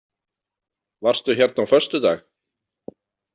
Varstu hérna á föstudag?